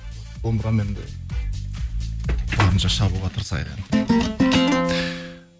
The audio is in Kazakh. домбырамен де барынша шабуға тырысайық енді